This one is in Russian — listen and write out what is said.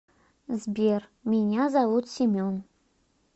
сбер меня зовут семен